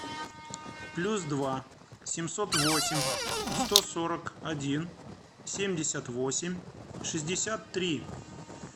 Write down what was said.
плюс два семьсот восемь сто сорок один семьдесят восемь шестьдесят три